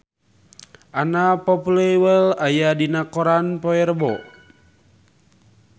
Anna Popplewell aya dina koran poe Rebo